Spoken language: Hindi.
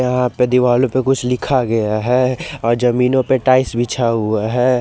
यहां पे दिवालो पे कुछ लिखा गया है और जमीनों पे टाइल्स बीछा हुआ है।